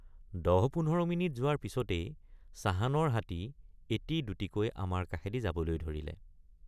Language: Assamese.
১০।১৫ মিনিট যোৱাৰ পিচতেই চাহানৰ হাতী এটিদুটিকৈ আমাৰ কাষেদি যাবলৈ ধৰিলে।